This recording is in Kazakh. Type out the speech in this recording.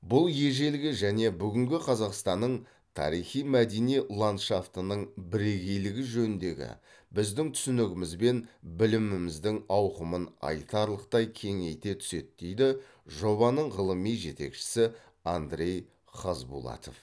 бұл ежелгі және бүгінгі қазақстанның тарихи мәдени ландшафтының бірегейлігі жөніндегі біздің түсінігіміз бен біліміміздің ауқымын айтарлықтай кеңейте түседі дейді жобаның ғылыми жетекшісі андрей хазбулатов